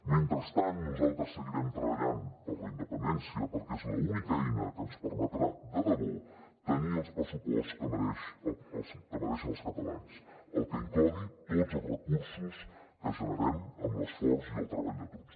mentrestant nosaltres seguirem treballant per la independència perquè és l’única eina que ens permetrà de debò tenir el pressupost que mereixen els catalans el que inclogui tots els recursos que generem amb l’esforç i el treball de tots